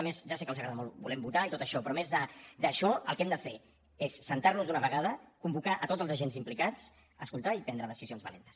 a més ja sé que els agrada molt volem votar i tot això però a més d’això el que hem de fer és asseure’ns d’una vegada convocar tots els agents implicats escoltar i prendre decisions valentes